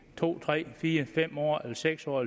to tre fire fem år eller seks år